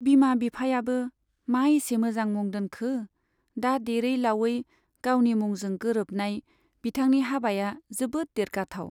बिमा बिफायाबो मा एसे मोजां मुं दोनखो, दा देरै लावयै गावनि मुंजों गोरोबनाय बिथांनि हाबाया जोबोद देरगाथाव।